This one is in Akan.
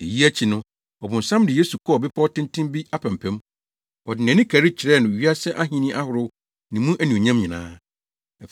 Eyi akyi no, ɔbonsam de Yesu kɔɔ bepɔw tenten bi apampam. Ɔde nʼani kari kyerɛɛ no wiase ahenni ahorow ne mu anuonyam nyinaa.